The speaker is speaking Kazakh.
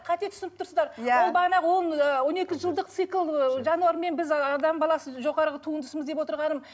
қате түініп тұрсыздар иә ол бағанағы он ы он екі жылдық цикл ыыы жануармен біз адам ы баласы жоғарғы туындысымыз деп отырғаным